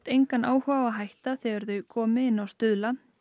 engan áhuga á að hætta þegar þau komi inn á Stuðla